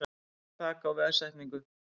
Ekkert þak á veðsetningu